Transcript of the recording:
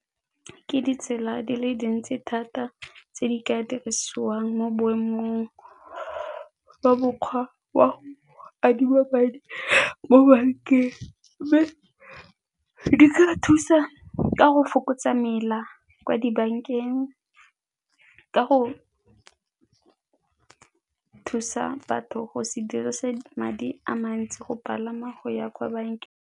Ke ditsela di le dintsi thata tse di ka dirisiwang mo boemong jwa mokgwa wa adima madi mo bankeng mme di tla thusa ka go fokotsa mela kwa dibankeng ka go thusa batho go se dirise madi a mantsi go palama go ya kwa bankeng.